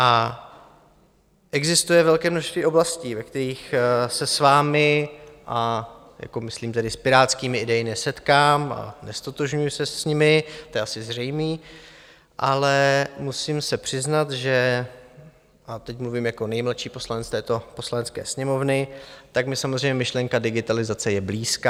A existuje velké množství oblastí, ve kterých se s vámi, a myslím tedy s pirátskými idejemi, nesetkám a neztotožňuji se s nimi, to je asi zřejmé, ale musím se přiznat, že - a teď mluvím jako nejmladší poslanec této Poslanecké sněmovny - tak mi samozřejmě myšlenka digitalizace je blízká.